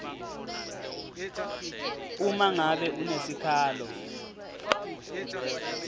uma ngabe unesikhalo